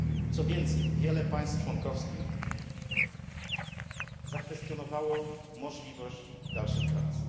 Co więcej, wiele państw członkowskich zakwestionowało możliwość dalszych prac.